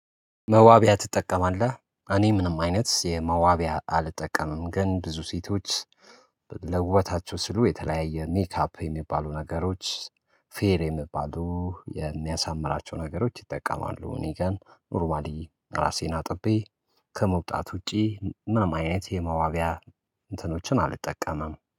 መዋቢያ ትጠቀማለህ? እኔ ምንም አይነት የመዋቢያ አልጠቀምም ግን ብዙ ሴቶች ለውበታቸው ሲሉ የተለያየ ሜካፕ የሚባሉ ነገሮች ፌር የሚባሉ የሚያሳምራቸው ነገሮች ይጠቀማሉ። እኔ ጋር ኖርማሊ ራሴን አጥቤ ከመውጣት ውጪ ምንም አይነት የመዋቢያ እንትኖችን አልጠቀምም።